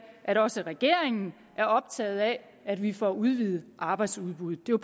at også regeringen er optaget af at vi får udvidet arbejdsudbuddet det